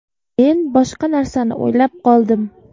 Men boshqa narsani o‘ylab qoldim.